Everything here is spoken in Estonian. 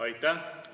Aitäh!